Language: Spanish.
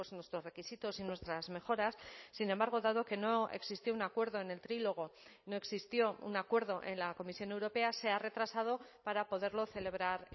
nuestros requisitos y nuestras mejoras sin embargo dado que no existió un acuerdo en el trílogo no existió un acuerdo en la comisión europea se ha retrasado para poderlo celebrar